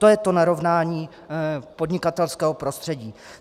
To je to narovnání podnikatelského prostředí!